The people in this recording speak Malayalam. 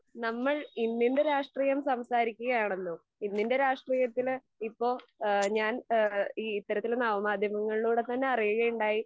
നമ്മൾ ഇന്നിൻ്റെ രാഷ്ട്രീയം സംസാരിക്കുകയാണല്ലോ ഇന്നിൻ്റെ രാഷ്ട്രീയത്തില് ഇപ്പൊ ഏഹ് ഞാൻ ഏഹ് ഈ ഇത്തരത്തിൽ നവമാധ്യമങ്ങളിലൂടെ തന്നെ അറിയുകയുണ്ടായി